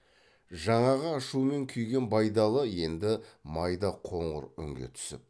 жаңағы ашумен күйген байдалы енді майда қоңыр үнге түсіп